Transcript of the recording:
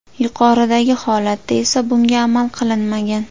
Yuqoridagi holatda esa bunga amal qilinmagan.